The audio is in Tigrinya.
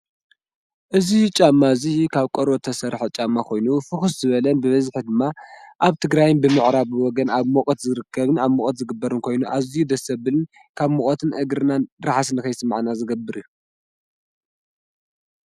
እዙይ ጫማ እዙይ ካብ ቆርበት ተሠርሐ ጫማ ኾይኑ ፍኹስ ዝበለን ብበዝሒ ድማ ኣብ ትግራይን ብምዕራብ ወገን ኣብ ሙቐት ዝርከብን ኣብ ሙቐት ዝግበርን ኮይኑ ኣዙይ ደስ ዘብልን ካብ ሙቐትን እግርናን ራሕሲ ንኸይስመዐና ዝገብር እዩ፡፡